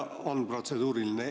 On protseduuriline.